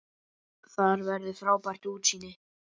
Þar verður frábært útsýni.